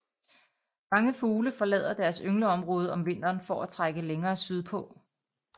Mange fugle forlader deres yngleområde om vinteren for at trække længere sydpå